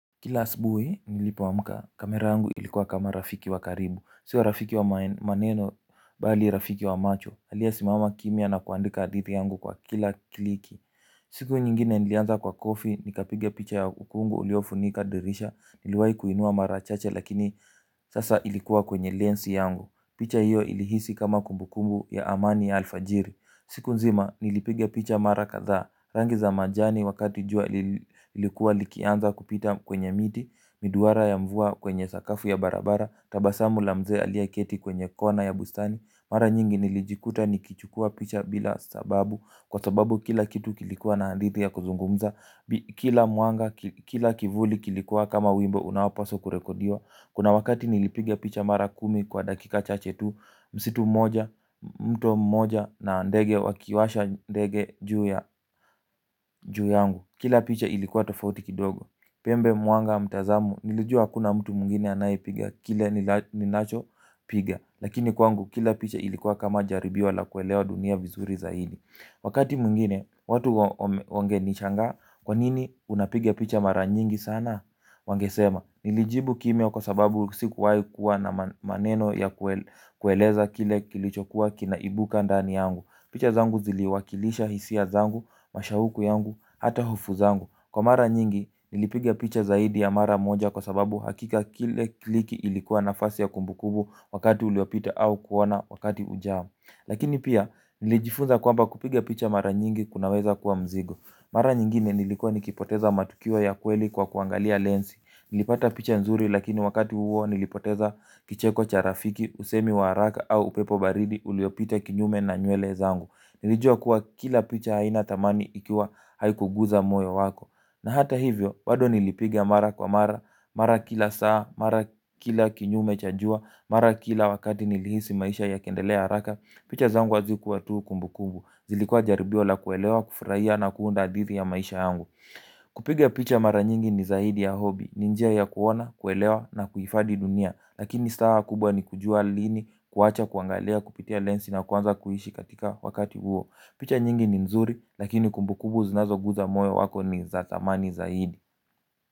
Kila asbui, nilipoamuka, kamera yangu ilikuwa kama rafiki wa karibu. Sio rafiki wa maneno, bali rafiki wa macho. Aliyesimama kimya na kuandika hadithi yangu kwa kila kliki. Siku nyingine nilianza kwa coffee, nikapiga picha ya ukungu uliofunika dirisha. Niliwahi kuinua mara chache, lakini sasa ilikuwa kwenye lensi yangu. Picha hiyo ilihisi kama kumbukumbu ya amani ya alfajiri. Siku nzima, nilipiga picha mara kadhaa. Rangi za majani wakati jua ilikuwa likianza kupita kwenye miti. Miduara ya mvua kwenye sakafu ya barabara. Tabasamu lamze aliyeketi kwenye kona ya bustani. Mara nyingi nilijikuta nikichukua picha bila sababu kwa sababu kila kitu kilikuwa na hadithi ya kuzungumza. Kila mwanga kila kivuli kilikuwa kama wimbo unaopaswa kurekodiwa. Kuna wakati nilipiga picha mara kumi kwa dakika chache tu. Msitu moja, mto moja na ndege wakiwasha ndege juu ya juu yangu. Kila picha ilikuwa tofauti kidogo. Pembe mwanga mtazamo, nilijua hakuna mtu mwingine anayipiga. Kile ninacho piga lakini kwangu kila picha ilikuwa kama jaribio la kuelewa dunia vizuri zaidi. Wakati mwingine, watu wangenishangaa kwanini unapiga picha mara nyingi sana? Wangesema, nilijibu kimya kwa sababu sikuwai kuwa na maneno ya kueleza kile kilichokuwa kinaibuka ndani yangu. Picha zangu ziliwakilisha hisia zangu, mashahuku yangu, hata hofu zangu. Kwa mara nyingi nilipiga picha zaidi ya mara moja kwa sababu hakika kile kliki ilikuwa nafasi ya kumbukumbu wakati uliopita au kuona wakati ujao. Lakini pia nilijifunza kwamba kupiga picha mara nyingi kunaweza kuwa mzigo. Mara nyingine nilikuwa nikipoteza matukio ya kweli kwa kuangalia lensi. Nilipata picha nzuri lakini wakati huo nilipoteza kicheko cha rafiki, usemi wa haraka au upepo baridi uliopita kinyume na nywele zangu. Nilijua kuwa kila picha haina thamani ikiwa haikuguza moyo wako. Na hata hivyo, bado nilipiga mara kwa mara, mara kila saa, mara kila kinyume cha jua, mara kila wakati nilihisi maisha yakiendelea haraka. Picha zangu hazikuwa tu kumbu kumbu, zilikua jaribio la kuelewa, kufuraia na kuunda hadithi ya maisha yangu. Kupiga picha mara nyingi ni zaidi ya hobby. Ni njia ya kuona, kuelewa na kufadi dunia. Lakini stawa kubwa ni kujua lini kuwacha, kuangalia, kupitia lensi na kuanza kuhishi katika wakati huo. Picha nyingi ni nzuri. Lakini kumbu kumbu zinazoguza moyo wako ni za thamani zaidi.